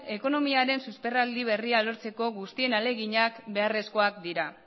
ekonomiaren susperraldi berria lortzeko guztien ahaleginak beharrezkoak dira